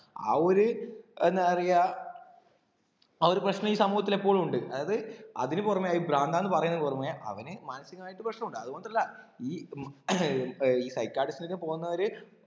ആ ഒരു എന്താ പറയാ ആ ഒരു പ്രശ്നം ഈ സമൂഹത്തിൽ എപ്പോഴും ഉണ്ട് അതായത് അതിന് പുറമെ ആയി പ്രാന്താണ് പറയുന്നതിന് പുറമെ അവന് മനസികമായിട്ട് പ്രശ്നമുണ്ട് അത്കൊണ്ടല്ല ഈ psychiatrist ന്റെടുക്കെ പോന്നവര്